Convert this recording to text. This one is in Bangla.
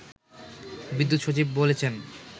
বিদ্যুত সচিব বলেছেন